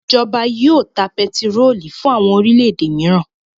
Ìjọba yóò ta pẹtírólù fún àwọn orílẹ̀-èdè mìíràn.